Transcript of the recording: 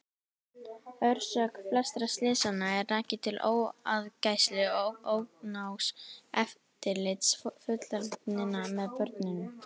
Orsök flestra slysanna er rakin til óaðgæslu og ónógs eftirlits fullorðinna með börnunum.